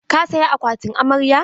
Ka saya akwatin amarya?